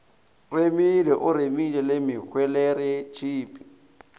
remile o remile le mehweleretshipi